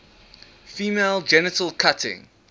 female genital cutting